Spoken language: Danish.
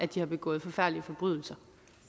de har begået forfærdelige forbrydelser